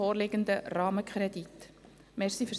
Ich begrüsse Regierungsrätin Allemann bei uns.